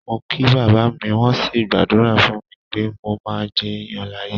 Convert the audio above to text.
Mo kí bàbá mi, wọ́n sì gbàdúrà fún mi pé mo máa jéèyàn láyé.